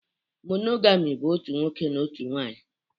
Monogami bụ otu nwoke na otu nwunye